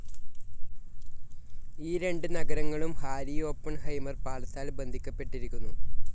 ഈ രണ്ട് നഗരങ്ങളും ഹാരി ഓപ്പൺഹൈമർ പാലത്താൽ ബന്ധിക്കപ്പെട്ടിരിക്കുന്നു.